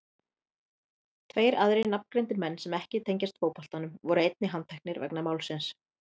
Tveir aðrir nafngreindir menn sem ekki tengjast fótboltanum voru einnig handteknir vegna málsins.